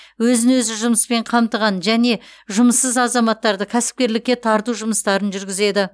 өзін өзі жұмыспен қамтыған және жұмыссыз азаматтарды кәсіпкерлікке тарту жұмыстарын жүргізеді